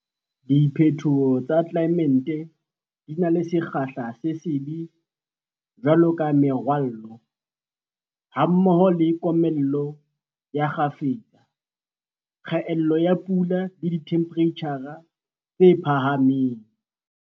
Diphetoho tsa tlelaemete di na le sekgahla se sebe jwalo ka merwallo, hammoho le komello ya kgafetsa, kgaello ya pula le dithemphereitjhara tse phahameng.